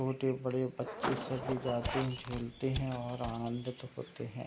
छोटे-बड़े बच्चे सभी जाते है झूलते है और आनंद होते है।